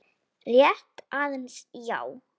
Rétt aðeins, já.